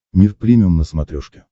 мир премиум на смотрешке